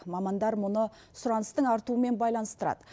мамандар мұны сұраныстың артуымен байланыстырады